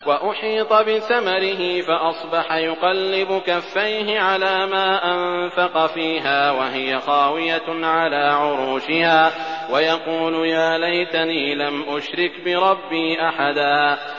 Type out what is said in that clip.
وَأُحِيطَ بِثَمَرِهِ فَأَصْبَحَ يُقَلِّبُ كَفَّيْهِ عَلَىٰ مَا أَنفَقَ فِيهَا وَهِيَ خَاوِيَةٌ عَلَىٰ عُرُوشِهَا وَيَقُولُ يَا لَيْتَنِي لَمْ أُشْرِكْ بِرَبِّي أَحَدًا